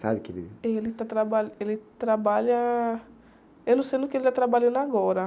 Sabe? O que ele...le está traba, Ele trabalha... Eu não sei no que ele está trabalhando agora.